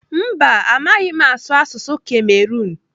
Mba, amaghị m m asụ asụsụ Kamerun.